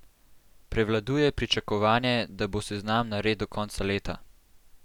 Prevladuje pričakovanje, da bo seznam nared do konca leta.